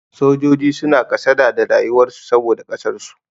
Sojoji suna kasada da rayuwar su saboda ƙasar su.